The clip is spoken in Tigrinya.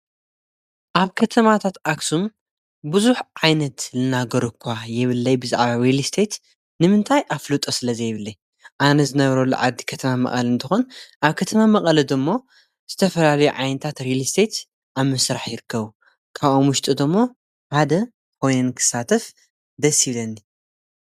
ማለት ብመሬትን ኣብ ልዕሊኡ ዝርከቡ ህንፃታትን ዝቖመ ንብረት ማለት እዩ። መንበሪ፣ ንግዳዊን ኢንዱስትርያዊን ንብረት ዘጠቓልል እዩ። ንብረት ከም ወፍሪ ወይ ንኣጠቓቕማ ዝዕደግ፡ ዝሽየጥ ወይ ዝካረ እዩ።